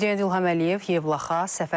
Prezident İlham Əliyev Yevlaxa səfər edib.